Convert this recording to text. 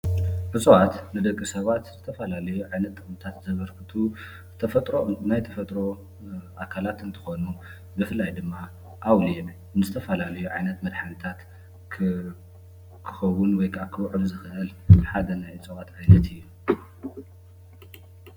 እፅዋት ንደቂ ሰባት ዝተፈላለየ ዓይነታት ጥቕምታት ዘበርክቱ ተፈጥሮ ናይ ተፈጥሮ ኣካላት እንትኾኑ ብፍላይ ድማ ኣውሊዕ ንዝተፈላለዩ ዓይነት መድሓኒታት ክኸውን ወይከዓ ክውዕል ዝኽእል ሓደ ናይ እፅዋት ዓይነት እዩ።